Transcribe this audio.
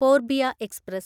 Poorbiya express